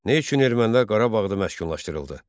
Nə üçün ermənilər Qarabağda məskunlaşdırıldı?